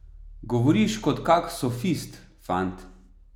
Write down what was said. Govoriš kot kak sofist, fant.